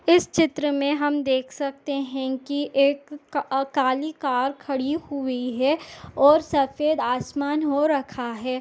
इस चित्र मे हम देख सकते है की एक क काली कार खड़ी हुई है और सफेद आसमान हो रखा है।